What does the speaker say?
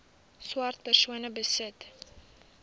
swart persone besit